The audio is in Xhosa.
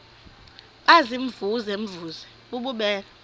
baziimvuze mvuze bububele